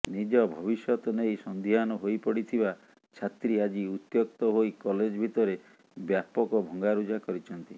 ନିଜ ଭବିଷ୍ୟତ ନେଇ ସନ୍ଦିହାନ ହୋଇପଡିଥିବା ଛାତ୍ରୀ ଆଜି ଉତ୍ୟକ୍ତ ହୋଇ କଲେଜ ଭିତରେ ବ୍ୟାପକ ଭଙ୍ଗାରୁଜା କରିଛନ୍ତି